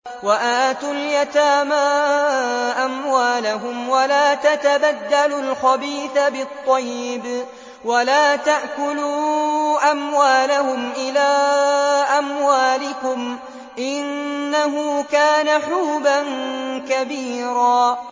وَآتُوا الْيَتَامَىٰ أَمْوَالَهُمْ ۖ وَلَا تَتَبَدَّلُوا الْخَبِيثَ بِالطَّيِّبِ ۖ وَلَا تَأْكُلُوا أَمْوَالَهُمْ إِلَىٰ أَمْوَالِكُمْ ۚ إِنَّهُ كَانَ حُوبًا كَبِيرًا